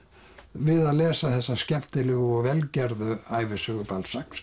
við að lesa þessa skemmtilegu og vel gerðu ævisögu